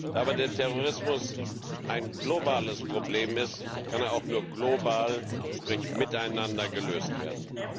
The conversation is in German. Aber da Terrorismus ein globales Problem ist, kann er auch nur global, sprich miteinander, gelöst werden.